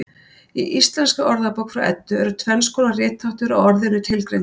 Í Íslenskri orðabók frá Eddu er tvenns konar ritháttur á orðinu tilgreindur.